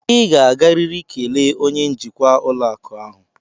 Ị ga-agarịrị kelee onye njikwa ụlọakụ ahụ!